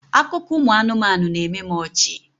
Akụkọ ụmụ anụmanụ na-eme m ọchị.